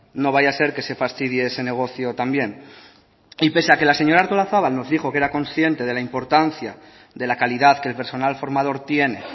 no vaya a ser que se fastidie ese negocio también y pese a que la señora artolazabal nos dijo que era consciente de la importancia de la calidad que el personal formador tiene